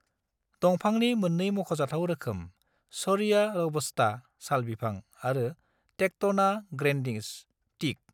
दंफांनि मोननै मख'जाथाव रोखोम दं - शोरिया रोबस्टा (साल बिफां) आरो टेक्टोना ग्रैंडिस (टिक)।